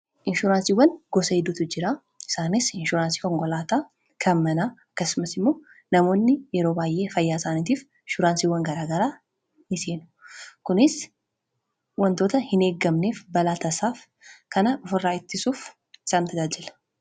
inshuraansiiwwan gosa hedduutu jiraa isaanis inshuraansii konkolaata kan manaa akkasumas immoo namoonni yeroo waay'ee fayyaasaaniitiif ishuraansiiwwan garaagaraa ni seenu kunis wantoota hin eeggamneef balaatasaaf kan of irraa ittisuuf isaan tajaajila